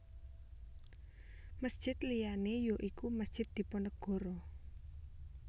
Masjid liyané ya iku Masjid Diponegoro